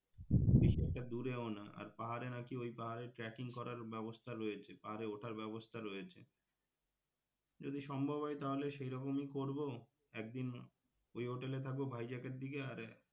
বেশিটা দুরেও না আর পাহাড়ে নাকি ওই পাহাড়ে tracking করার ব্যবস্থা রয়েছে পাহাড়ে উঠার ব্যবস্থা রয়েছে যদি সম্ভব হয় তাহলে সেরকমি করবো একদিন ওই হোটেলে থাকব ভাইজ্যাকের দিকে আর,